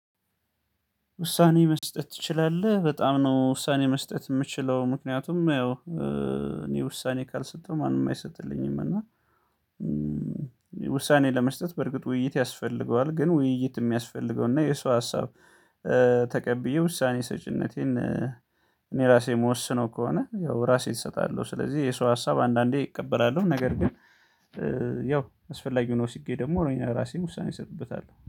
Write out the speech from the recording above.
ውሳኔ መስጠት ትችላለህ በጣም ነው? ውሳኔ መስጠት የምችለው ምክንያቱም ያው እኔ ውሳኔ ካልሰጠሁ ማንም አይሰጥልኝም። እና ውሳኔ ለመስጠት በርግጥ ውይይት ያስፈልገዋል። ግን ውይይት የሚያስፈልገው እና የሰው ሀሳብ ተቀብዬ ውሳኔ ሰጪነቴን እኔ ራሴ የምወስነው ከሆነ ያው ራሴ እሰጣለሁ። ስለዚህ የሰው ሀሳብ አንዳንዴ እቀበላለሁ ነገር ግን አስፈላጊው ነው። ወስጄ ደግሞ እኔ የራሴን ውሳኔ ሰጥበታል